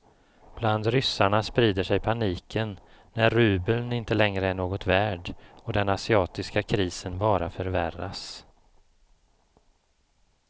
Bland ryssarna sprider sig paniken när rubeln inte längre är något värd och den asiatiska krisen bara förvärras.